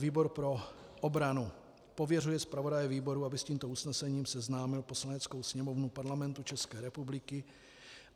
Výbor pro obranu pověřuje zpravodaje výboru, aby s tímto usnesením seznámil Poslaneckou sněmovnu Parlamentu České republiky.